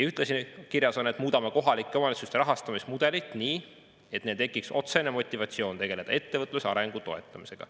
Ühtlasi on kirjas: "Muudame kohalike omavalitsuste rahastamismudelit nii, et neil tekiks otsene motivatsioon tegeleda ettevõtluse arengu toetamisega.